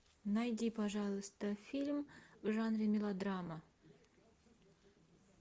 найди пожалуйста фильм в жанре мелодрама